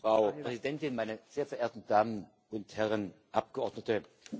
Frau Präsidentin, meine sehr verehrten Damen und Herren Abgeordnete!